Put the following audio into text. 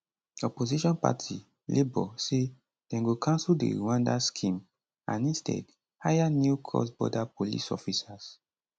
opposition party labour say dem go cancel di rwanda scheme and instead hire new crossborder police officers